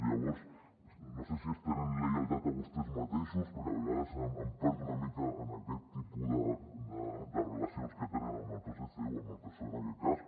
llavors no sé si es tenen lleialtat a vostès mateixos perquè a vegades em perdo una mica en aquest tipus de relacions que tenen amb el psc o amb el psoe en aquest cas